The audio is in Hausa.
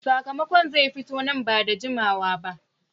, sakamakon zai fito nan ba da jimawa ba